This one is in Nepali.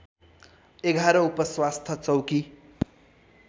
११ उपस्वास्थ्य चौकी